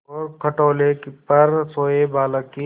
और खटोले पर सोए बालक की